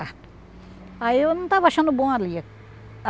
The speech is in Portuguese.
Aí eu não estava achando bom ali.